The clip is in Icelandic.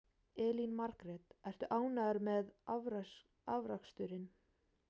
Elín Margrét: Ertu ánægður með afraksturinn?